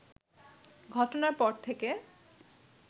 ঘটনার পর থেকে